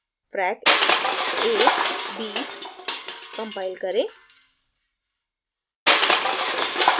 frac a b compile करें